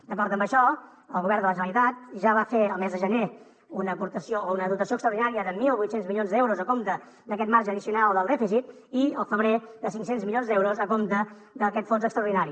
d’acord amb això el govern de la generalitat ja va fer el mes de gener una aportació o una dotació extraordinària de mil vuit cents milions d’euros a compte d’aquest marge addicional del dèficit i al febrer de cinc cents milions d’euros a compte d’aquest fons extraordinari